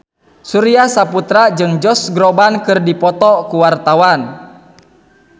Surya Saputra jeung Josh Groban keur dipoto ku wartawan